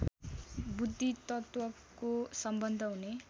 बुद्धितत्त्वको सम्बन्ध हुने